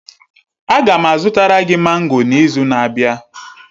Aga m azụtara gị mango n'izu na-abịa.